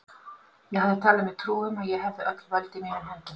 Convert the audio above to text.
Ég hafði talið mér trú um, að ég hefði öll völd í mínum höndum.